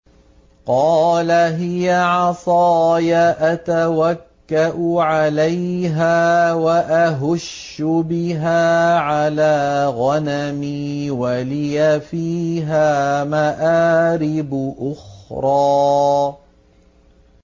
قَالَ هِيَ عَصَايَ أَتَوَكَّأُ عَلَيْهَا وَأَهُشُّ بِهَا عَلَىٰ غَنَمِي وَلِيَ فِيهَا مَآرِبُ أُخْرَىٰ